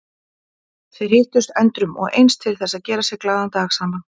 Þeir hittust endrum og eins til þess að gera sér glaðan dag saman.